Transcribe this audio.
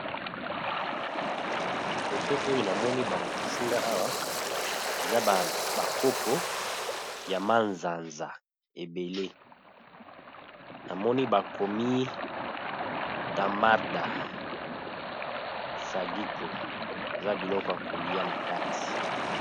na foto oyo namoni balakisinga awa eza bakopo ya mazanza ebele namoni bakomi tamarda sagiko eza biloko ya kolia na kati